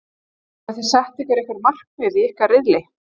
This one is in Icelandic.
Hafiði sett ykkur einhver markmið í ykkar riðli?